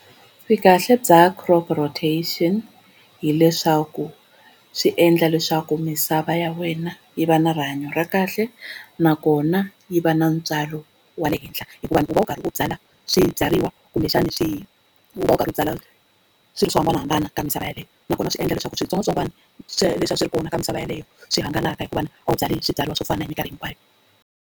Vukahle bya crop rotation hileswaku swi endla leswaku misava ya wena yi va na rihanyo ra kahle nakona yi va na ntswalo wa le henhla, hikuva u va u karhi u byala swibyariwa kumbexani u va u karhi u byala swilo swo hambanahambana ka misava yaleyo nakona swi endla leswaku switsongwatsongwana swo leswiya a swi ri kona ka misava yeleyo swi hangalaka hikuva a wu byali hi swibyariwa swo fana hi mikarhi hinkwayo.